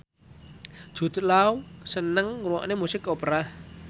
Jude Law seneng ngrungokne musik opera